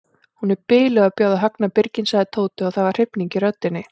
Hún er biluð að bjóða Högna birginn sagði Tóti og það var hrifning í röddinni.